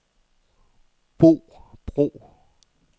Bo Bro